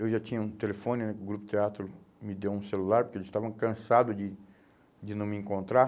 Eu já tinha um telefone, o Grupo Teatro me deu um celular, porque eles estavam cansados de de não me encontrar.